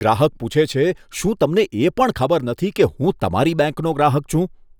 ગ્રાહક પૂછે છે, શું તમને એ પણ ખબર નથી કે હું તમારી બેંકનો ગ્રાહક છું?